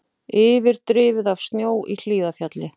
Yfirdrifið af snjó í Hlíðarfjalli